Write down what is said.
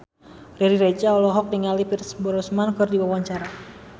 Riri Reza olohok ningali Pierce Brosnan keur diwawancara